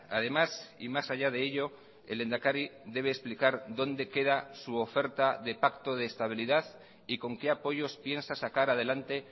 además y más allá de ello el lehendakari debe explicar dónde queda su oferta de pacto de estabilidad y con qué apoyos piensa sacar adelante